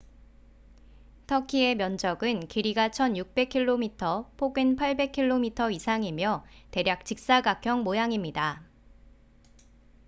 터키의 면적은 길이가 1,600km 폭은 800km 이상이며 대략 직사각형 모양입니다